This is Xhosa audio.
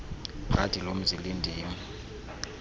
xhadi lomzi lindim